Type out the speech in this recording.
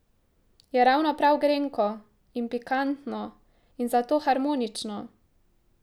Je ravno prav grenko in pikantno in zato harmonično.